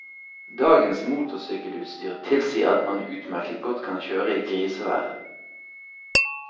Dagens motorsykkelutstyr tilsier at man utmerket godt kan kjøre i grisevær.